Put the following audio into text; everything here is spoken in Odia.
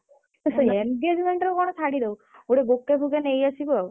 ହେ engagement ରେ କଣ ଶାଢ଼ୀ ଦବୁ ଗୋଟେ bouquet ଫୁକେ ନେଇ ଆସିବୁ ଆଉ।